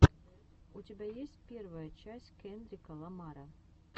у тебя есть первая часть кендрика ламара